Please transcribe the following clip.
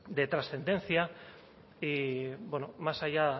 de trascendencia y bueno más allá